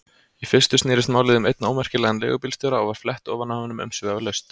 Í fyrstu snerist málið um einn ómerkilegan leigubílstjóra og var flett ofan af honum umsvifalaust.